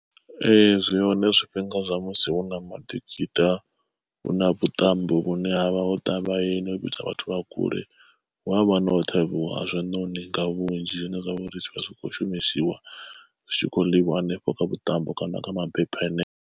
Ee zwi hone zwifhinga zwa musi hu na maḓikiṱa hu na vhuṱambo vhune havha ho ḓa vhayeni ho vhidzwa vhathu vha kule. Hu avha na u ṱhavhiwa ha zwiṋoni nga vhunzhi zwine zwavha uri zwi vha zwi kho shumisiwa zwi tshi kho ḽiwa hanefho kha vhuṱambo kana kha mabepha hanefho.